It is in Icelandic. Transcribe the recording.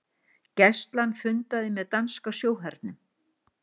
Gæslan fundaði með danska sjóhernum